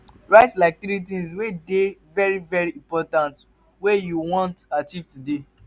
write like tiri tins wey dey very very important wey you wan achieve today